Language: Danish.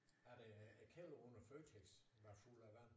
At øh at kælderrummet i Føtex var fuld af vand